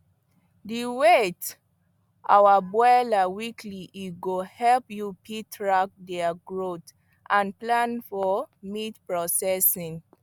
dey weigh your broilers weekly e go help you fit track their growth and plan for meat processing